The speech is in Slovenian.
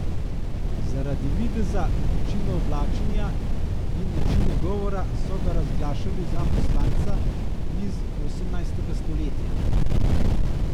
Zaradi videza, načina oblačenja in načina govora so ga razglašali za poslanca iz osemnajstega stoletja.